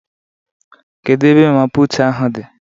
Kedu ebe mama puutu ahụ dị?